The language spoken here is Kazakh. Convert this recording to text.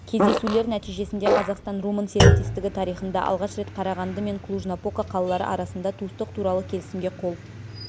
кездесулер нәтижесінде қазақстан-румын серіктестігі тарихында алғаш рет қарағанды мен клуж-напока қалалары арасында туыстық туралы келісімге қол